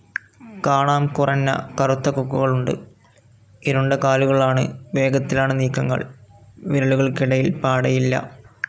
കാണാം കുറഞ്ഞ കറുത്ത കൊക്കുകളുണ്ട്. ഇരുണ്ട കാലുകളാണ്. വേഗത്തിലാണ് നീക്കങ്ങൾ. വിരലുകൾക്കിടയിൽ പാടയില്ല.